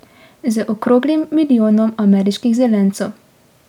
Z okroglim milijonom ameriških zelencev.